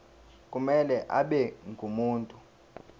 kumele abe ngumuntu